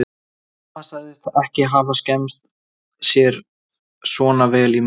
Amma sagðist ekki hafa skemmt sér svona vel í mörg ár.